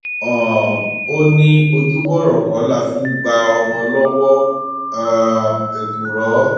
um ó ní ojúbọrọ kọ la fi ń gba ọmọ lọwọ um èkùrọ